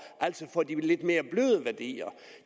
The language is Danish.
altså for de lidt mere bløde værdier